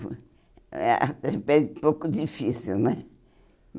Eh ah Foi um pouco difícil, né?